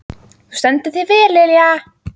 Þú stendur þig vel, Lilja!